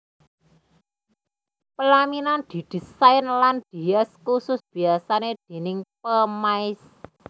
Pelaminan didisain lan dihias kusus biasane déning pemaes